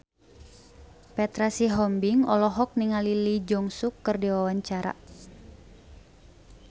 Petra Sihombing olohok ningali Lee Jeong Suk keur diwawancara